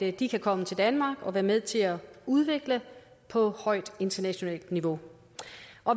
at de kan komme til danmark og være med til at udvikle på højt internationalt niveau